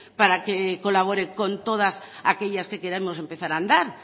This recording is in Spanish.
para que colabore con todas aquellas que queremos empezar a andar